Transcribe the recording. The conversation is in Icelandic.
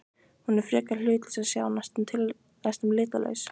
Hún er frekar hlutlaus að sjá, næstum litlaus.